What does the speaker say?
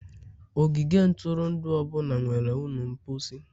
ogige ntụrụndụ ọ bụla nwere ụlọ mposi.